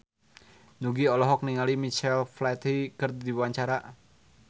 Nugie olohok ningali Michael Flatley keur diwawancara